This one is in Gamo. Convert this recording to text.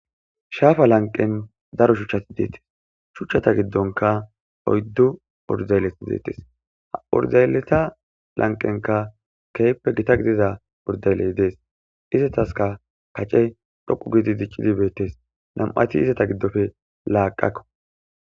Hhaafa lanqen daro shuchchati deettes shuchchata giddonka oyddu urzaylleti deettes urzayleta lanqenka keyppe gita gidida urdayley dees izataska kace dhoqu giidi diccidibeettes nam'ati izata giddofe laaqakko.